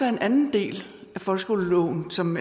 en anden del af folkeskoleloven som